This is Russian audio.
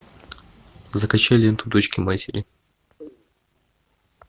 закачай ленту дочки матери